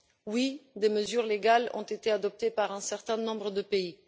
Oui, des mesures légales ont été adoptées par un certain nombre de pays.